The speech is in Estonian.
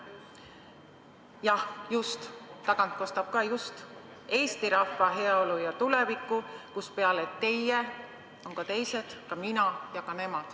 " Jah, just, tagant kostab samuti "Eesti rahva heaolu ja tuleviku", kus peale teie on ka teised – ka mina ja ka nemad.